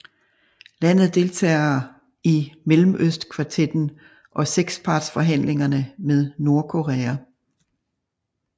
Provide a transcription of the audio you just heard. Landet deltager i Mellemøstkvartetten og sekspartsforhandlingerne med Nordkorea